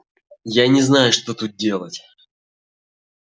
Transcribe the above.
я не знаю что тут делать